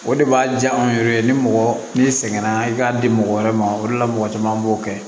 O de b'a diya anw yɛrɛ ye ni mɔgɔ n'i sɛgɛn na i k'a di mɔgɔ wɛrɛ ma o de la mɔgɔ caman b'o kɛ